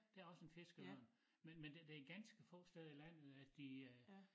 Der også en fiskeørn men men det ganske få steder i landet at de øh